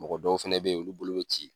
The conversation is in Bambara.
Mɔgɔ dɔw fɛnɛ bɛ ye olu bolo bɛ ci.